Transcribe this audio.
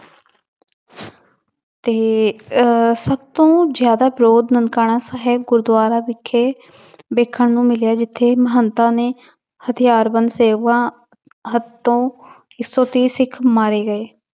ਤੇ ਅਹ ਸਭ ਤੋਂ ਜ਼ਿਆਦਾ ਵਿਰੋਧ ਨਨਕਾਣਾ ਸਾਹਿਬ ਗੁਰਦੁਆਰਾ ਵਿਖੇ ਵੇਖਣ ਨੂੰ ਮਿਲਿਆ ਜਿੱਥੇ ਮਹੰਤਾਂ ਨੇ ਹਥਿਆਰਬੰਦ ਸੇਵਕਾਂ ਹੱਥੋਂ ਇੱਕ ਸੌ ਤੀਹ ਸਿੱਖ ਮਾਰੇ ਗਏ